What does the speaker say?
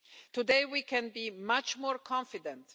Today we can be much more confident.